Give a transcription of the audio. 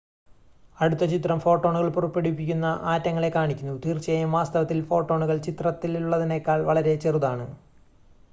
അടുത്ത ചിത്രം ഫോട്ടോണുകൾ പുറപ്പെടുവിക്കുന്ന ആറ്റങ്ങളെ കാണിക്കുന്നു തീർച്ചയായും വാസ്തവത്തിൽ ഫോട്ടോണുകൾ ചിത്രത്തിലുള്ളതിനേക്കാൾ വളരെ ചെറുതാണ്